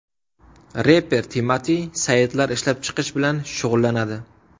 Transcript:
Reper Timati saytlar ishlab chiqish bilan shug‘ullanadi.